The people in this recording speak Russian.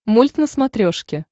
мульт на смотрешке